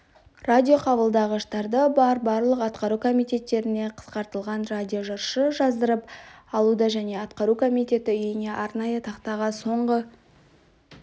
радиоқабылдағыштары бар барлық атқару комитеттеріне қысқартылған радиожаршы жаздырып алуды және атқару комитеті үйіне арнайы тақтаға соңғы